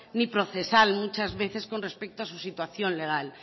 ni procesal muchas veces con respecto a su situación legal